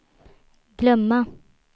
glömma